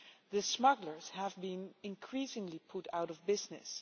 The smugglers have been increasingly put out of business.